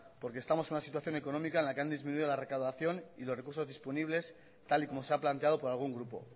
porque estamos en una situación económica en la que han disminuido la recaudación y los recursos disponibles tal y como se ha planteado por algún grupo